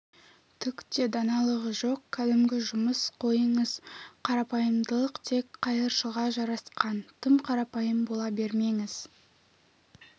түк те даналығы жоқ кәдімгі жұмыс қойыңыз қарапайымдылық тек қайыршыларға жарасқан тым қарапайым бола бермеңіз